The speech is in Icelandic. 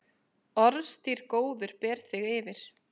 Orðstír góður ber þig yfir.